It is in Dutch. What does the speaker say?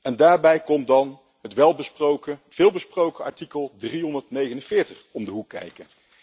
En daarbij komt dan het veelbesproken artikel 349 om de hoek kijken.